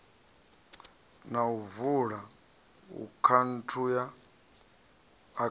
na u vula akhaunthu ya